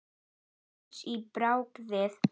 Komist á bragðið